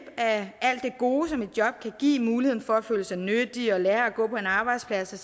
af alt det gode som et job kan give muligheden for at føle sig nyttig og lære at gå på en arbejdsplads og